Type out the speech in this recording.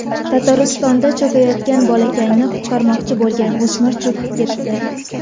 Tataristonda cho‘kayotgan bolakayni qutqarmoqchi bo‘lgan o‘smir cho‘kib ketdi.